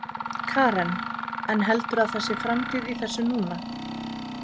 Karen: En heldurðu að það sé framtíð í þessu núna?